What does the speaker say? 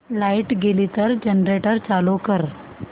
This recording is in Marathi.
लाइट गेली तर जनरेटर चालू कर